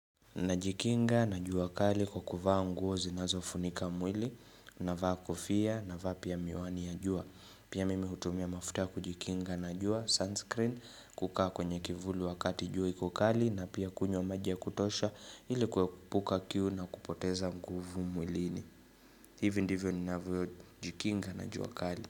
Najikinga na jua kali kwa kuvaa nguo zinazofunika mwili navaa kofia navaa pia miwani ya jua. Pia mimi hutumia mafutia kujikinga na jua sunscreen kukaa kwenye kivuli wakati jua iko kali na pia kunywa maji ya kutosha ili kuekupuka kiu na kupoteza nguvu mwilini. Hivi ndivyo ninavyojikinga na jua kali.